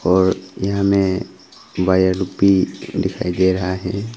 और यहाँ हमें वायर रूपी दिखाई दे रहा है।